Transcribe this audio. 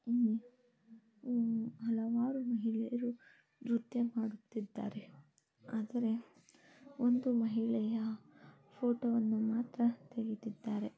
ಉಮ್ ಉಹ್ ಹಲವಾರು ಮಹಿಳೆಯರು ರುತ್ಯ ಮಾಡುತ್ತಿದ್ದಾರೆ. ಆದರೆ ಒಂದು ಮಹಿಳೆಯ ಫೋಟೋವನ್ನು ಮಾತ್ರ ತೆಗಿತಿದ್ದಾರೆ .